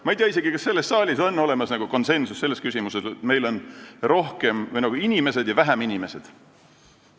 Ma ei tea isegi, kas selles saalis on konsensus selles küsimuses, et meil on nagu inimesed ja vähem inimesed.